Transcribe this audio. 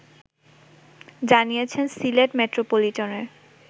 জানিয়েছেন সিলেট মেট্রোপলিটনের